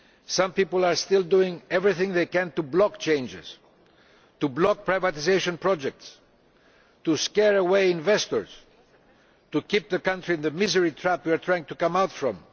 Some people are still doing everything they can to block changes, to block privatisation projects, to scare away investors, and to keep the country in the misery trap we are trying to escape from.